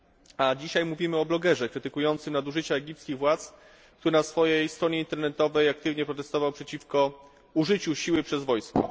A dzisiaj mówimy o blogerze krytykującym nadużycia egipskich władz, który na swojej stronie internetowej protestował przeciwko użyciu siły przez wojsko.